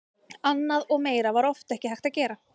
Annað og meira var oft ekki hægt að gera.